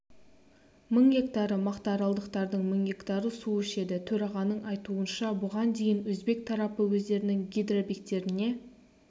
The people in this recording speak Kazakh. мың гектары мақтааралдықтардың мың гектары су ішеді төрағаның айтуынша бұған дейін өзбек тарапы өздерінің гидробекеттеріне